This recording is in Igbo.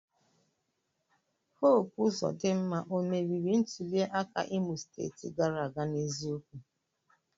Hope Uzodimma o merìrì ntuli aka Imo steeti gàrà aga n'eziokwu?